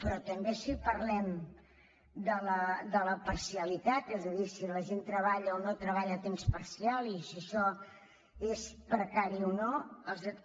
però també si parlem de la parcialitat és a dir si la gent treballa o no treballa a temps parcial i si això és precari o no